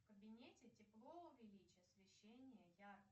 в кабинете тепло увеличь освещение